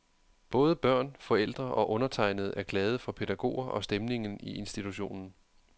Både børn, forældre og undertegnede er glade for pædagoger og stemningen i institutionen.